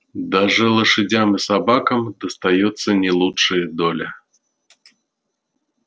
даже лошадям и собакам достаётся не лучшая доля